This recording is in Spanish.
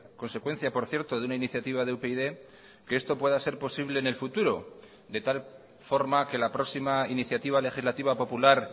consecuencia por cierto de una iniciativa de upyd que esto pueda ser posible en el futuro de tal forma que la próxima iniciativa legislativa popular